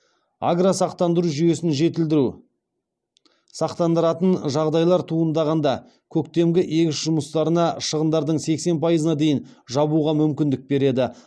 агросақтандыру жүйесін жетілдіру сақтандыратын жағдайлар туындағанда көктемгі егіс жұмыстарына шығындардың сексен пайызына дейін жабуға мүмкіндік береді